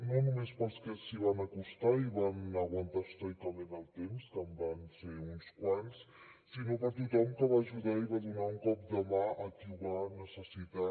no només per als que s’hi van acostar i van aguantar estoicament el temps que en van ser uns quants sinó per a tothom que va ajudar i va donar un cop de mà a qui ho va necessitar